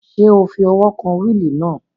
Ṣé o fi ọwọ́ kan wíìlì náà?